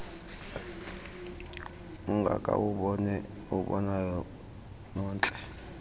ungaka uwubonayo nontle